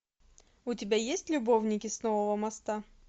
у тебя есть любовники с нового моста